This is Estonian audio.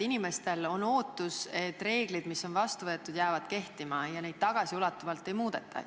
Inimestel on ootus, et reeglid, mis on vastu võetud, jäävad kehtima ja neid tagasiulatuvalt ei muudeta.